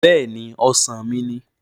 Bẹ́ẹ̀ni! Ọ̀sán mi ni